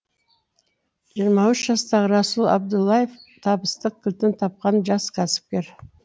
жиырма үш жастағы расул абдуллаев табыстың кілтін тапқан жас кәсіпкер